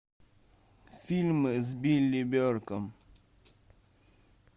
фильмы с билли берком